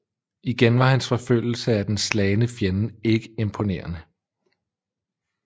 Igen var hans forfølgelse af den slagne fjende ikke imponerende